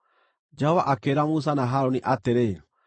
Jehova akĩĩra Musa na Harũni atĩrĩ: